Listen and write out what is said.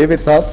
yfir það